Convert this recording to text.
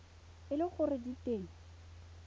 e le gore di teng